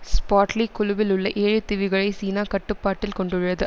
Spratly குழுவிலுள்ள ஏழு தீவுகளை சீனா கட்டுப்பாட்டில் கொண்டுள்ளது